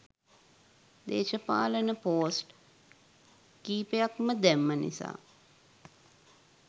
දේශපාලන පෝස්ට් කීපයක්ම දැම්ම නිසා